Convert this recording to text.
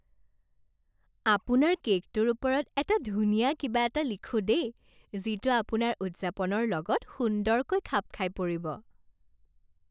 আপোনাৰ কে'কটোৰ ওপৰত এটা ধুনীয়া কিবা এটা লিখোঁ দেই, যিটো আপোনাৰ উদযাপনৰ লগত সুন্দৰকৈ খাপ খাই পৰিব।